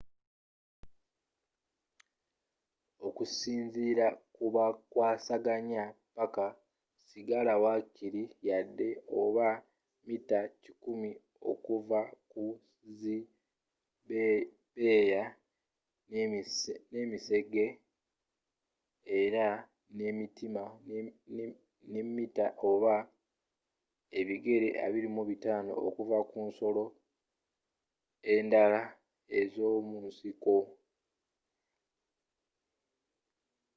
okusinziira ku bakwasaganya paaka sigala wakiri yaadi oba mita100 okuva ku zi bbeeya n'emisege era ne mita oba ebigere 25 okuva ku nsolo endala ez'omunsiko